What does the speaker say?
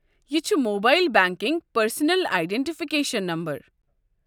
یہِ چھُ mobile banking personal identification number.